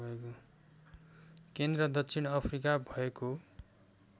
केन्द्र दक्षिण अफ्रिका भएको